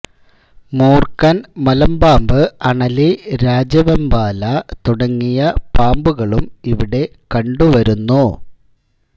മൂർഖൻ മലമ്പാമ്പ് അണലി രാജവെമ്പാല തുടങ്ങിയ പാമ്പുകളും ഇവിടെ കണ്ടുവരുന്നു